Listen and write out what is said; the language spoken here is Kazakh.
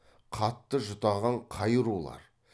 қатты жұтаған қай рулар